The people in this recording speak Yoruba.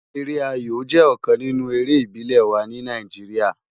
Ere áyó jè òkán ninú éré ibilé wá ni Náijiriá